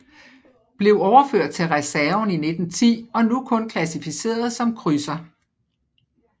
Blev overført til reserven i 1910 og nu kun klassificeret som krydser